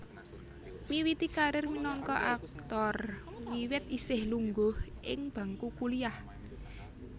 Miwiti karir minangka aktor wiwit isih lungguh ing bangku kuliah